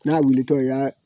N'a wulitɔ i y'a